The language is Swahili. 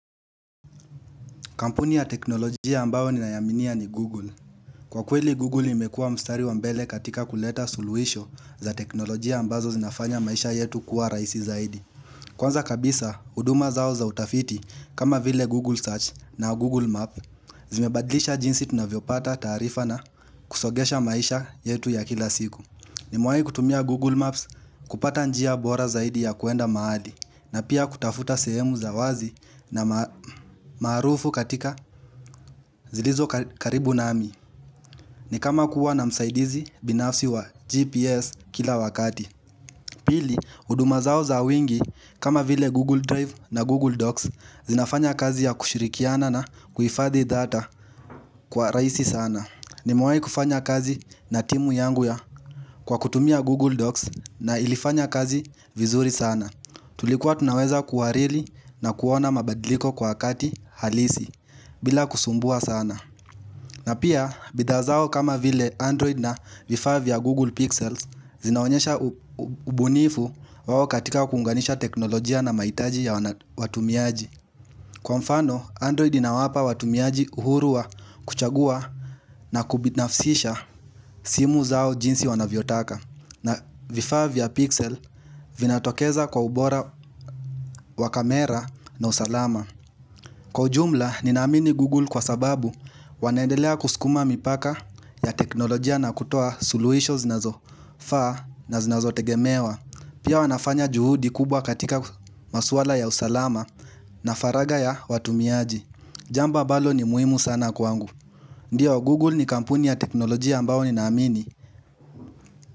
Kampuni ya teknolojia ambao ninaya aminia ni Google. Kwa kweli Google imekua mstari wa mbele katika kuleta suluhisho za teknolojia ambazo zinafanya maisha yetu kuwa rahisi zaidi. Kwanza kabisa, huduma zao za utafiti kama vile Google Search na Google Map zimebadlisha jinsi tunavyopata taarifa na kusongesha maisha yetu ya kila siku. Nimewahi kutumia Google Maps kupata njia bora zaidi ya kuenda mahali na pia kutafuta sehemu za wazi na maarufu katika zilizo ka karibu nami. Ni kama kuwa na msaidizi binafsi wa GPS kila wakati. Pili, huduma zao za wingi kama vile Google Drive na Google Docs zinafanya kazi ya kushirikiana na kuhifadi data kwa rahisi sana. Nimewahi kufanya kazi na timu yangu ya kwa kutumia Google Docs na ilifanya kazi vizuri sana. Tulikuwa tunaweza kuwariri na kuona mabadliko kwa wakati halisi bila kusumbua sana. Na pia bidhaa zao kama vile Android na vifaa vya Google Pixels zinaonyesha ubunifu wao katika kuunganisha teknolojia na mahitaji ya wana watumiaji. Kwa mfano, Android ina wapa watumiaji uhuru wa kuchagua na kubinafsisha simu zao jinsi wanavyotaka. Na vifaa vya pixel vinatokeza kwa ubora wa kamera na usalama. Kwa ujumla, nina amini Google kwa sababu wanendelea kuskuma mipaka ya teknolojia na kutoa suluhisho zinazo faa na zinazo tegemewa. Pia wanafanya juhudi kubwa katika maswala ya usalama na faraga ya watumiaji. Jamba ambalo ni muhimu sana kwangu Ndiyo Google ni kampuni ya teknolojia ambao ni naamini.